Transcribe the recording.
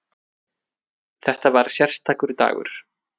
Þetta var sérstakur dagur.